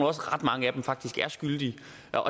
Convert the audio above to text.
ret mange af dem faktisk er skyldige